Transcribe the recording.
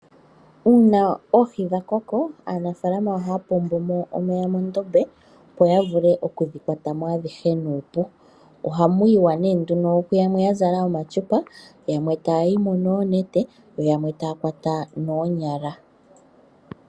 Uuna oohi dha koko, aanafaalama ohaya pombo mo omeya mondombe opo ya vule okudhikwata mo adhihe nuupu. Ohamu yiwa nee nduno kuyamwe ya zala omatyupa, yamwe taya yimo noonete yo yamwe taya kwata noonyala.